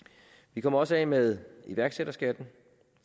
vi kommer også af med iværksætterskatten